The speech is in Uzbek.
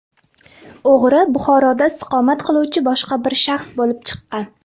O‘g‘ri Buxoroda istiqomat qiluvchi boshqa bir shaxs bo‘lib chiqqan.